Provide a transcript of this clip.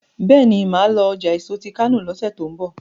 béèni má lọ ọjà èso tí kano lọsẹ tí n bọ